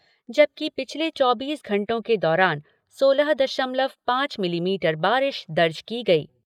जबकि पिछले चौबीस घंटों के दौरान सोलह दशमलव पाँच मिलीमीटर बारिश दर्ज की गई।